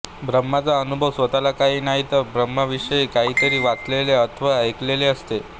ब्रम्हाचा अनुभव स्वतःला काही नाही पण ब्रम्हविषयी काहीतरी वाचलेले अथवा ऐकलेले असते